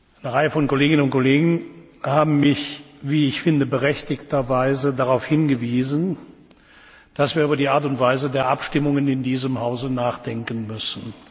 Eine Reihe von Kolleginnen und Kollegen haben mich, wie ich finde, berechtigt darauf hingewiesen, dass wir über die Art und Weise der Abstimmungen in diesem Hause nachdenken müssen.